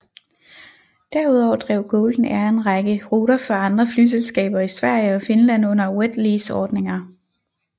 Derudover drev Golden Air en række ruter for andre flyselskaber i Sverige og Finland under wet lease ordninger